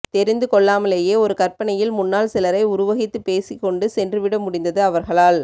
தெரிந்து கொள்ளாமலேயே ஒரு கற்பனையில் முன்னால் சிலரை உருவகித்து பேசிக்கொண்டு சென்றுவிட முடிந்தது அவர்களால்